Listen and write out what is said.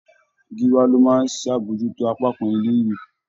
Gíwá ló máa ń ṣàbojútó apá kan ilé-ìwé.